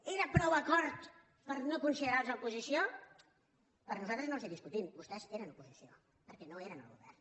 era prou acord per no considerar los oposició nosaltres no els ho discutim vostès eren oposició perquè no eren al govern